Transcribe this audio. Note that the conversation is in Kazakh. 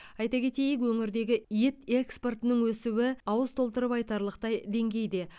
айта кетейік өңірдегі ет экспортының өсуі ауыз толтырып айтарлықтай деңгейде